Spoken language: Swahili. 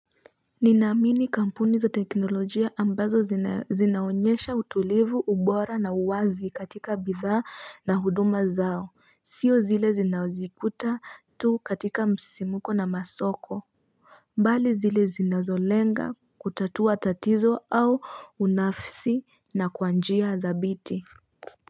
Ninaamini kampuni za teknolojia ambazo zinaonyesha utulivu ubora na uwazi katika bidhaa na huduma zao sio zile zinaozikuta tu katika msisimuko na masoko mbali zile zinazolenga kutatua tatizo au unafsi na kwa njia dhabiti.